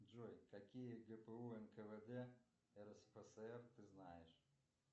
джой какие гпо нквд рсфср ты знаешь